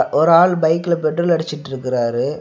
ஒரு ஆள் பைக்ல பெட்ரோல் அடிச்சிட்டுருக்காரு.